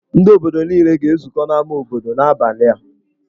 Ndị obodo niile ga-ezukọ n'ámá obodo n'abalị a.